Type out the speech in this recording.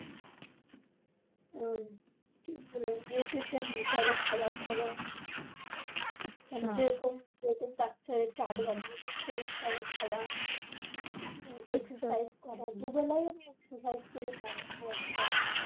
আহ কি বলে? nutation হিসেবে খবার খাওয়া। যেরকম যেরকম doctor chart বানিয়ে দিছে সেরকম ঐভাবে খাওয়া। ecercise দুবেলাই আমি exercise করি morning work যায়।